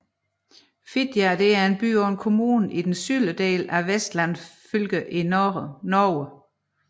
Fitjar er by og en kommune i den sydlige del af Vestland fylke i Norge